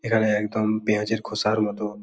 এখানে একদম পেঁয়াজের খোসার মত --